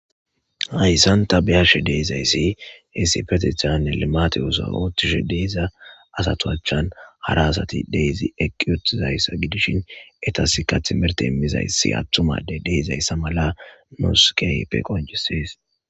Hayssanta biyashe deezayssi hesifetethan elemate osa oottishe deeza asatoachan hara asati deyzi eqiyutizayssa gidishin etasika timerte emmizayssi attumade deezayssa mala nooskeype qonjisees.